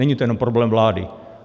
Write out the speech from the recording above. Není to jen problém vlády.